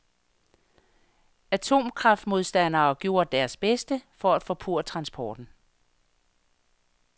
Atomkraftmodstandere gjorde deres bedste for at forpurre transporten.